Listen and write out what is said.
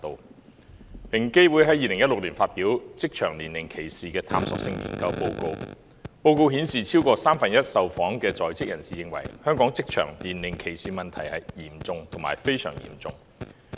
平等機會委員會在2016年發表《職場年齡歧視的探索性研究》報告，報告顯示超過三分之一受訪在職人士認為，香港職場年齡歧視的問題是"嚴重"及"非常嚴重"。